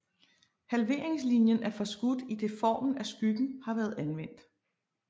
Halveringslinien er forskudt idet formen af skyggen har været anvendt